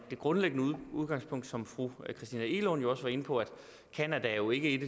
grundlæggende udgangspunkt som fru christina egelund også var inde på nemlig at canada jo ikke